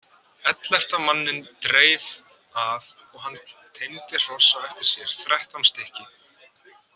Ellefta manninn dreif að og hann teymdi hross á eftir sér, þrettán stykki.